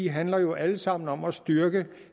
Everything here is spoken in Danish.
handler jo alle sammen om at styrke